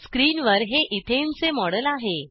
स्क्रीनवर हे इथेन चे मॉडेल आहे